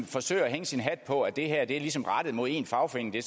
forsøger at hænge sin hat på at det her ligesom er rettet mod én fagforening det